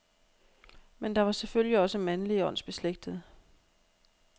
Men der var selvfølgelig også mandlige åndsbeslægtede.